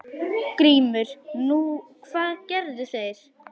GRÍMUR: Nú, hvað gerðu þeir?